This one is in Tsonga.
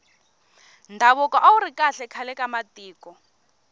ndhavuko awuri kahle khale ka matiko